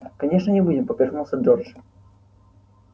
конечно не будем поперхнулся джордж